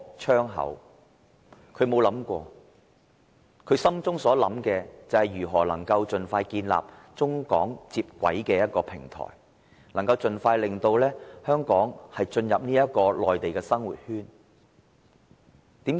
他所想的只是如何能盡快建立中港接軌的平台，盡快令香港進入內地的生活圈。